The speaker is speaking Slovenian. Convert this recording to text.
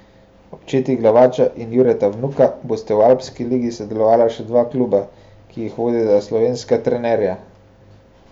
Ob četi Glaviča in Jureta Vnuka bosta v Alpski ligi sodelovala še dva kluba, ki jih vodita slovenska trenerja.